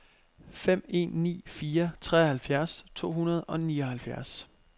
fem en ni fire treoghalvfjerds to hundrede og nioghalvfjerds